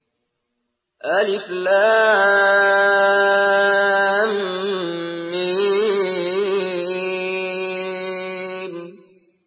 الم